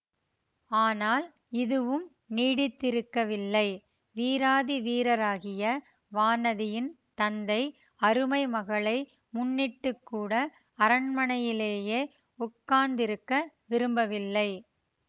ஆனால் இதுவும் நீடித்திருக்கவில்லை வீராதி வீரராகிய வானதியின் தந்தை அருமை மகளை முன்னிட்டுக்கூட அரண்மனையிலேயே உட்கார்ந்திருக்க விரும்பவில்லை